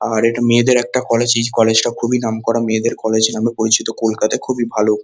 আর এটা মেয়েদের একটা কলেজই এই কলেজ টা খুব নামকরা মেয়েদের কলেজ নামে পরিচিত কলকাতায় খুবই ভালো।